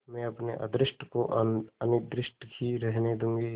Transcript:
मैं अपने अदृष्ट को अनिर्दिष्ट ही रहने दूँगी